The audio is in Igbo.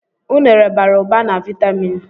Unere bara ụba na viatamịn